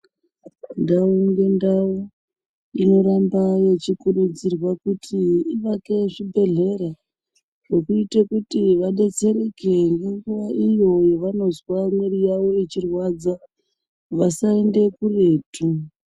Ndau ngendau inoramba yechikurudzirwa kuti ivake zvibhedhlera zvinoita kuti vadetsereke ngenguwa iyo yavanozwa mwiiri yavo yechirwadza vasaende kuretu.